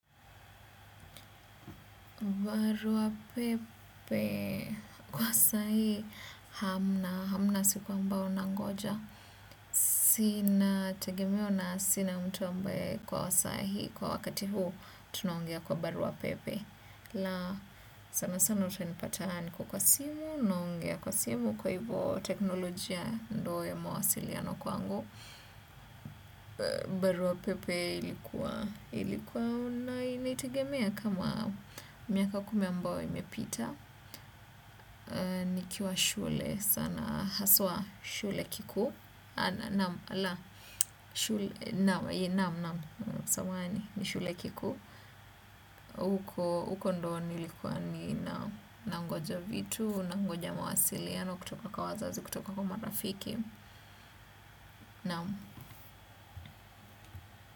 Barua pepe, kwa saa hii hamna, hamna siku ambao nangoja. Sina tegemeo na sina mtu ambaye kwa saa hii kwa wakati huu tunaongea kwa barua pepe. La sana sana utanipata niko kwa simu, naongea kwa simu kwa hivyo teknolojia ndo ya mawasiliano kwangu. Barua pepe ilikuwa ilikuwa na inaitegemea kama miaka kumi ambao imepita nikiwa shule haswa shule kikuu mhm naam, lah. Samahani ni shule kikuu huko huko ndio nilikuwa ninangoja vitu, nangoja mawasiliano kutoka kwa wazazi kutoka kwa marafiki naam.